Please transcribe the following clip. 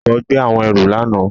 Ọkọ gbe awọn ẹru lana.